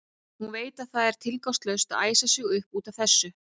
Hún veit að það er tilgangslaust að æsa sig upp út af þessu.